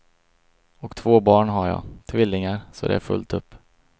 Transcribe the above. Och två barn har jag, tvillingar, så det är fullt upp.